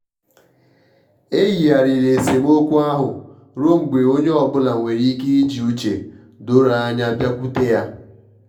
e yigharịrị esemokwu ahụ ruọ mgbe onye ọbụla nwere ike iji uche doro anya bịakwute ya.